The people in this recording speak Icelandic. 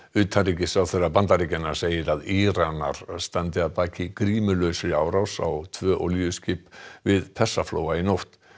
utanríkisráðherra Bandaríkjanna segir að Íranar standi að baki grímulausri árás á tvö olíuskip við Persaflóa í nótt